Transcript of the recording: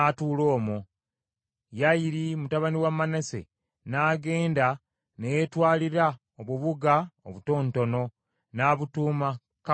Yayiri mutabani wa Manase n’agenda ne yeetwalira obubuga obutonotono, n’abutuuma Kavosu Yayiri.